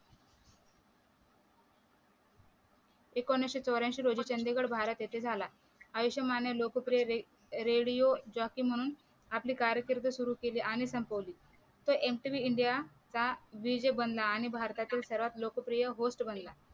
एकोणविशे चौऱ्यांशी रोजी चंदीगड भारत येथे झाला आयुष्मान खुराणा या रेडिओ जॉकी म्हणून आपली कारकीर्द सुरु केली आणि संपवली ओळखले जाते तो MTV india चा DJ आणि भारतातील सर्वात लोकप्रिय Host बनला.